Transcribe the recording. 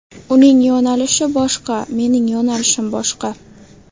Uning yo‘nalishi boshqa, mening yo‘nalishim boshqa.